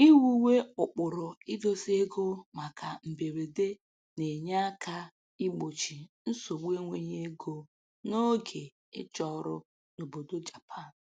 Iwuwe ụkpụrụ idosa ego maka mberede na-enye aka igbochi nsogbu enweghị ego n'oge ịchọ ọrụ n'obodo Japan